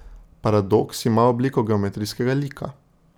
Paradoks ima obliko geometrijskega lika.